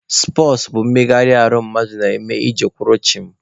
Spọtsụ bụ mmegharị ahụ mmadụ na-eme iji kwụrụ chịm.